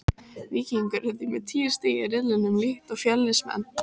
Víkingur er því með tíu stig í riðlinum líkt og Fjölnismenn.